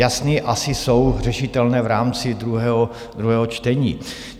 Jasné, asi jsou řešitelné v rámci druhého čtení.